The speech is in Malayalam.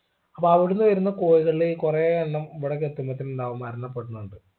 അപ്പോ അവിടുന്ന് വരുന്ന കോഴികളിൽ കുറെയെണ്ണം ഇവിടേക്ക് എത്തുമ്പക്ക് എന്താവും മരണപ്പെടുന്നുണ്ട്